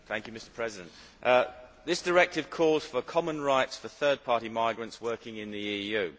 Mr President, this directive calls for common rights for third party migrants working in the EU.